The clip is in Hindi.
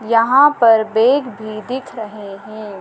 यहाँ पर बैग भी दिख रहे हैं।